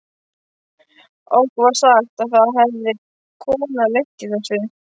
Okkur var sagt að það hefði kona lent í þessu.